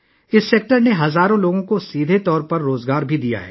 اس شعبے نے ہزاروں لوگوں کو براہ راست روزگار بھی دیا ہے